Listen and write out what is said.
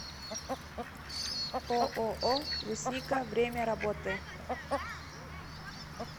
ооо брусника время работы